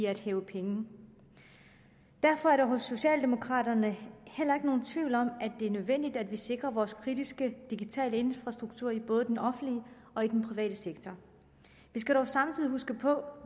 at hæve penge derfor er der hos socialdemokraterne heller ikke nogen tvivl om at det er nødvendigt at vi sikrer vores kritiske digitale infrastrukturer i både den offentlige og den private sektor vi skal dog samtidig huske på